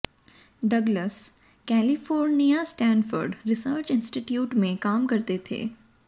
Douglas California Stanford research institute में काम करते थे